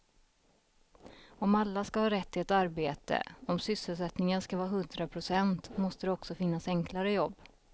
Om alla ska ha rätt till ett arbete, om sysselsättningen ska vara hundra procent måste det också finnas enklare jobb.